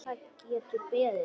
Það getur ekki beðið.